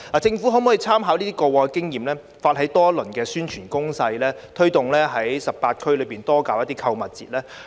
政府可否參考過往經驗，發起多輪宣傳攻勢，推動在18區內多舉辦購物節呢？